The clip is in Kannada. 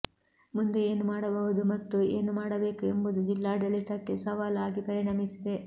ಮುಂದೆ ಏನು ಮಾಡಬಹುದು ಮತ್ತು ಏನು ಮಾಡಬೇಕು ಎಂಬುದು ಜಿಲ್ಲಾಡಳಿತಕ್ಕೆ ಸವಾಲ್ ಆಗಿ ಪರಿಣಮಿಸಿದೆ